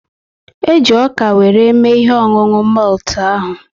E ji ọka were mme ihe ọṅụṅụ moltu ahu